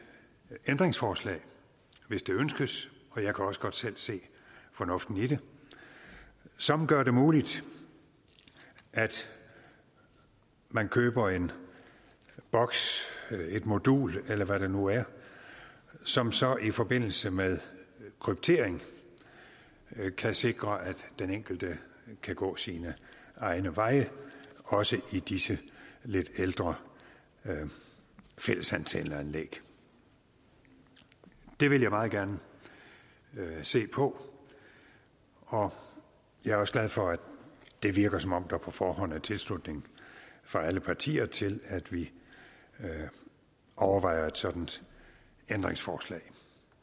ændringsforslag hvis det ønskes jeg kan også godt selv se fornuften i det som gør det muligt at man køber en boks et modul eller hvad det nu er som så i forbindelse med kryptering kan sikre at den enkelte kan gå sine egne veje også i disse lidt ældre fællesantenneanlæg det vil jeg meget gerne se på og jeg er også glad for at det virker som om der på forhånd er tilslutning fra alle partier til at vi overvejer et sådant ændringsforslag